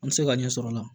An bɛ se ka ɲɛ sɔrɔ o la